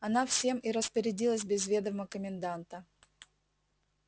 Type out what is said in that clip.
она всем и распорядилась без ведома коменданта